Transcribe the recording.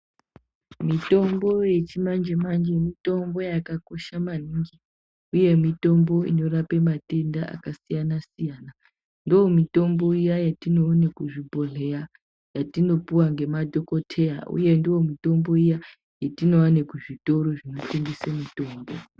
Mitombo yechimanje manje mitombo yakakosha maningi Uye mitombo inorapa matenda akasiyana siyana ndomitombo yatinoona kuzvibhohleya yatinopuwa nemadhokodheya uye ndomitombo iya yatinoona kuzvitoro zvinotengeswa mitombo.